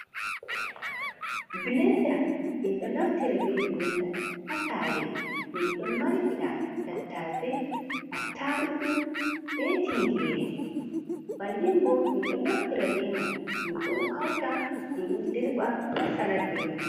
Bilanda, min ɗo naftira be bilada hasare min ɗon markiɗa tattase attarugu be tingere. bannin bo min ɗo naftira beman min ɗo hauta, min ɗo dirɓa furut salat beman.